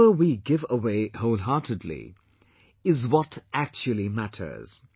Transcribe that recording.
Whatever we give away wholeheartedly is what actually matters